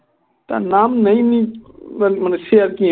তার নাম মানে সে আর কি